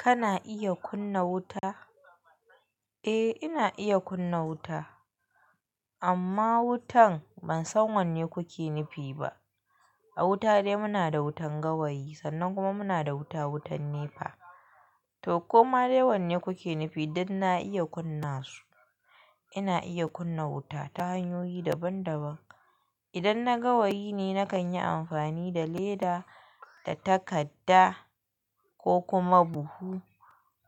Kana iya kunna wuta? Eh, ina iya kunna wuta. Amma wutan ban san wanne kuke nufi ba. A wuta dai muna da wutan gawayi sannan kuma muna da wuta wutan nefa. To koma dai wanne kuke nufi dan na iya kunna su. Ina iya kunna wuta ta hanyoyi daban daban. Idan na gawayi ne nakan yi amfani da leda da takadda ko kuma buhu.